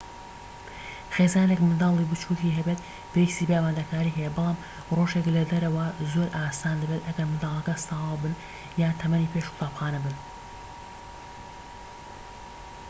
خێزانێك منداڵی بچوکی هەبێت پێویستی بە ئامادەکاری هەیە بەڵام ڕۆژێك لە دەرەوە زۆر ئاسان دەبێت ئەگەر منداڵەکان ساوا بن یان تەمەنی پێش قوتابخانە بن